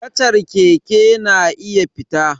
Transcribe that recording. Kacar keke na iya fita